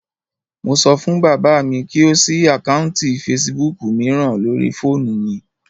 Mo sọ fún bàbá mi kí ó ṣí àkáùntì fesibúùkù mìíràn lórii fóònù mi